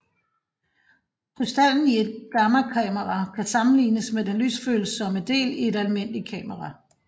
Krystallen i et gammakamera kan sammenlignes med den lysfølsomme del i et almindeligt kamera